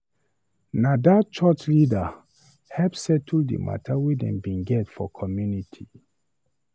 Na dat church leader help settle di mata wey dem bin get for community.